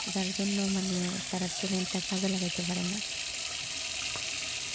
যার জন্য মানে তারা talent তা কাজে লাগাতে পারেনা।